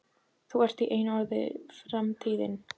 Þú ert, í einu orði sagt, framtíðin.